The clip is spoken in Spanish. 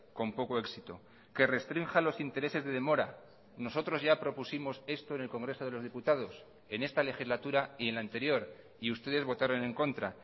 con poco éxito que restrinja los intereses de demora nosotros ya propusimos esto en el congreso de los diputados en esta legislatura y en la anterior y ustedes votaron en contra